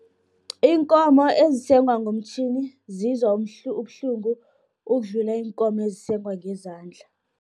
Iinkomo esengwa ngomtjhini, zizwa ubuhlungu, ukudlula iinkomo ezisengwa ngezandla.